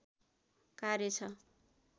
कार्य छ